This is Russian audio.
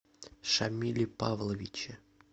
шамиле павловиче